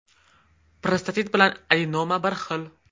Prostatit bilan adenoma bir xil.